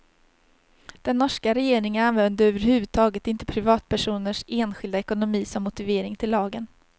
Den norska regeringen använde över huvud taget inte privatpersoners enskilda ekonomi som motivering till lagen.